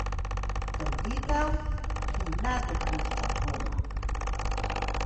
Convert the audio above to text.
Trditev, ki ne dopušča dvoma!